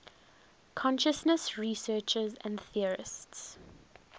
consciousness researchers and theorists